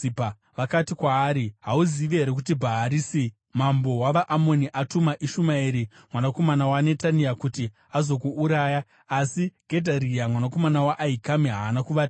Vakati kwaari, “Hauzivi here kuti Bhaarisi mambo wavaAmoni atuma Ishumaeri mwanakomana waNetania kuti azokuuraya?” Asi Gedharia mwanakomana waAhikami haana kuvatenda.